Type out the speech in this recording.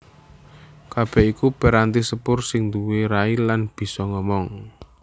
Kabèh iku piranti sepur sing nduwé rai lan bisa ngomong